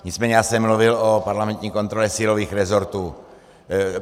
Nicméně já jsem mluvil o parlamentní kontrole silových rezortů.